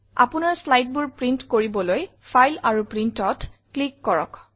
আপোনাৰ slideবোৰ প্ৰিণ্ট কৰিবলৈ ফাইল আৰু Printত ক্লিক কৰক